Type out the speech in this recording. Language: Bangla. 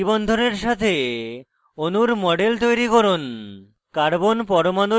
একক দ্বি এবং triple বন্ধনের সাথে অণুর models তৈরি করুন